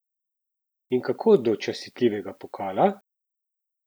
In kako do častitljivega pokala?